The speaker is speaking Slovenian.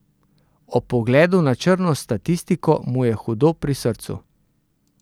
Ob pogledu na črno statistiko mu je hudo pri srcu.